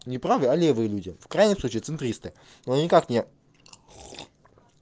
не правые а левые люди в крайнем случае центристы но никак не